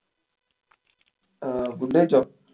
ആഹ് food കഴിച്ചോ?